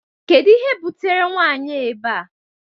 Kedu ihe butere nwanyi a ebea?